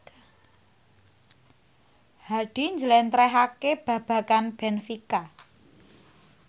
Hadi njlentrehake babagan benfica